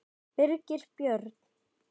Birgir Björn